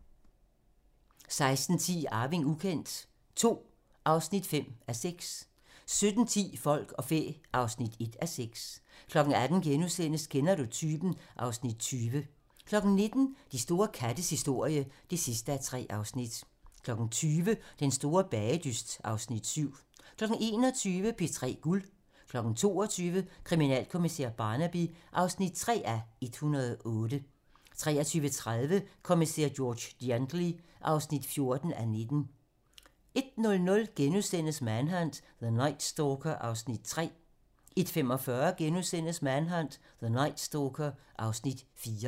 16:10: Arving ukendt II (5:6) 17:10: Folk og fæ (1:6) 18:00: Kender du typen? (Afs. 20)* 19:00: De store kattes historie (3:3) 20:00: Den store bagedyst (Afs. 7) 21:00: P3 Guld 22:00: Kriminalkommissær Barnaby (3:108) 23:30: Kommissær George Gently (14:19) 01:00: Manhunt: The Night Stalker (Afs. 3)* 01:45: Manhunt: The Night Stalker (Afs. 4)*